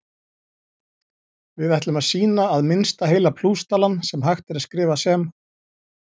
Við ætlum að sýna að minnsta heila plústalan sem hægt er að skrifa sem